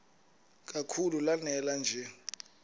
kakhulu lanela nje